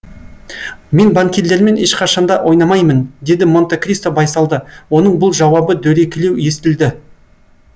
мен банкирлермен ешқашанда ойнамаймын деді монте кристо байсалды оның бұл жауабы дөрекілеу естілді